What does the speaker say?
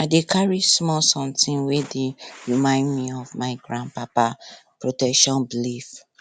i dey carry small sometin wey dey remind me of my gran papa protection belief